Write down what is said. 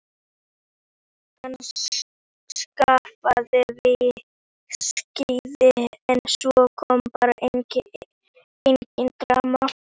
Hann skaffaði viskíið en svo kom bara engin dama.